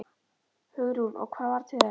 Hugrún: Og hvað varð til þess?